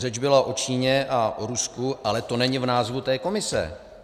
Řeč byla o Číně a o Rusku, ale to není v názvu té komise.